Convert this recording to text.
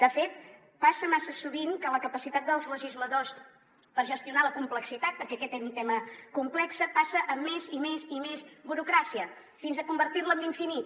de fet passa massa sovint que la capacitat dels legisladors per gestionar la complexitat perquè aquest era un tema complex passa a més i més i més burocràcia fins a convertir la en infinita